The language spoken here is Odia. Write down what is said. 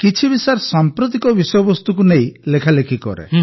କିଛି ବି ସାମ୍ପ୍ରତିକ ବିଷୟବସ୍ତୁକୁ ନେଇ ଲେଖାଲେଖି କରେ